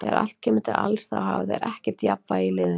Þegar allt kemur til alls þá hafa þeir ekkert jafnvægi í liðinu.